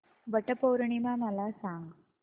वट पौर्णिमा मला सांग